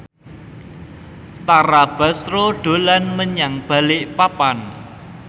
Tara Basro dolan menyang Balikpapan